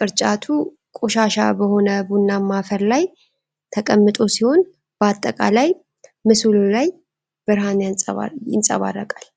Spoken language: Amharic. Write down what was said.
ቅርጫቱ ቆሻሻ በሆነ ቡናማ አፈር ላይ ተቀምጦ ሲሆን በአጠቃላይ ምስሉ ላይ ብርሃን ይንጸባረቃል።